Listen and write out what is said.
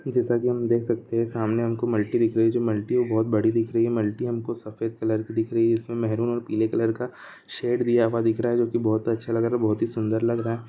जेसकी हम देख सक्ते है सामने हमको मल्टी दिखक रही है जो मल्टी बहोत बड़ी दिख रही है मल्टी हमको सफेद कलर की दिख रही है जिसमे महरून और पीले कलर का शैड दिया हुआ दिख रहा है जोकी बहोत ही अच्छा लग रहा है बहोत ही सुंदर लग रहा है।